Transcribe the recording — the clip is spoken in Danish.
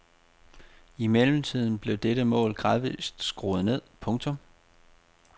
I mellemtiden blev dette mål gradvist skruet ned. punktum